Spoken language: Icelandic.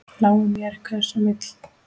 Lái mér, hver sem vill.